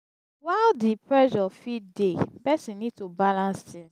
while di pressure fit dey person need to balance things